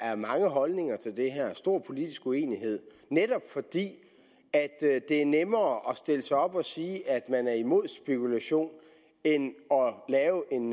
er mange holdninger til det her og stor politisk uenighed netop fordi det er nemmere at stille sig op og sige at man er imod spekulation end at lave en